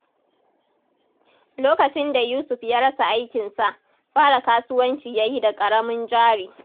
Lokacin da Yusuf ya rasa aikinsa, fara kasuwanci ya yi da ƙaramin jari.